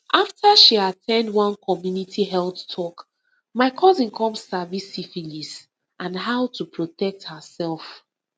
after she at ten d one community health talk my cousin come sabi about syphilis and how to protect herself